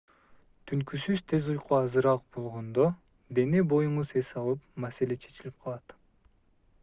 түнкүсүн тез уйку азыраак болгондо дене-боюңуз эс алып маселе чечилип калат